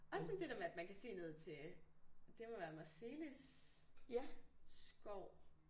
Også sådan det der med at man kan se ned til det må være Marselis skov